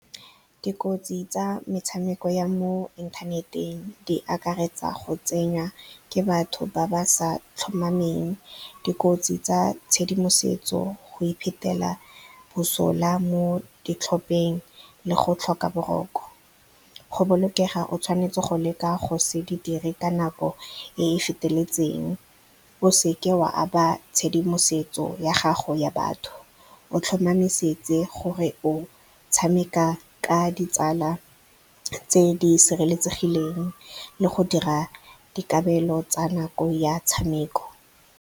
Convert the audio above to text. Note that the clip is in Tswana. Dikotsi tsa metshameko ya mo inthaneteng di akaretsa go tsenywa ke batho ba ba sa tlhomameng, dikotsi tsa tshedimosetso, go iphetela bosola mo ditlhopheng, le go tlhoka boroko. Go bolokega o tshwanetse go leka go se di dire ka nako e e feteletseng, o seke wa aba tshedimosetso ya gago ya batho, o tlhomamisetse gore o tshameka ka ditsala tse di sireletsegileng le go dira dikabelo tsa nako ya tshameko.